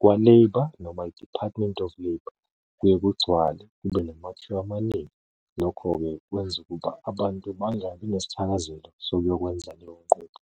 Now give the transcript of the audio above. kwa-labour noma i-Department of Labour, kuye kugcwale kube namathuba amaningi, lokho-ke kwenza ukuba abantu bangabi nesithakazelo sokuyokwenza leyo nqubo.